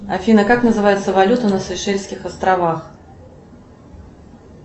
афина как называется валюта на сейшельских островах